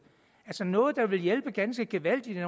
noget der ville hjælpe ganske gevaldigt i